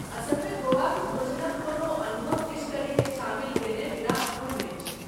असलमे गोवाक भोजनक कोनो अनुभव फिश करीकेँ शामिल कयने बिना अपूर्ण अछि।